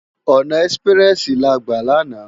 Òná èsipirèsi lá gbá làná